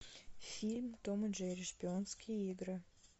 фильм том и джерри шпионские игры